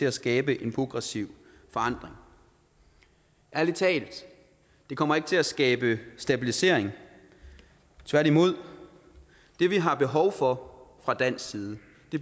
at skabe en progressiv forandring ærlig talt det kommer ikke til at skabe stabilisering tværtimod det vi har behov for fra dansk side